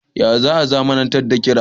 Ya za a zamanantar da kira.?